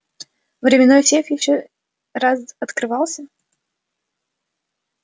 временной сейф ещё раз открывался